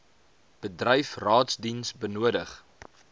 bedryf raadsdiens benodig